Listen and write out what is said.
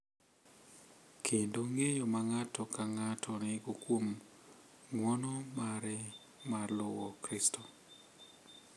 Kendo ng’eyo ma ng’ato ka ng’ato nigo kuom ng’uono mare mar luwo Kristo.